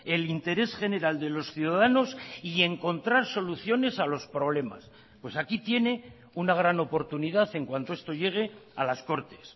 el interés general de los ciudadanos y encontrar soluciones a los problemas pues aquí tiene una gran oportunidad en cuanto esto llegue a las cortes